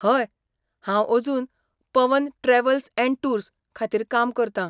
हय, हांव अजून पवन ट्रॅव्हल अँड टूर्स खातीर काम करतां.